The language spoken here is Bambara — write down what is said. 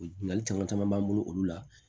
O ɲininkali caman caman b'an bolo olu la